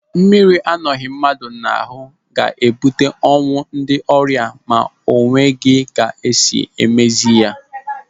Mmiri anọghị mmadụ n'ahụ ga-ebute ọnwụ ndị ọrịa ma o nweghị ka esi mezie ya.